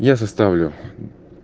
я составлю